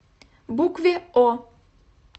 букве о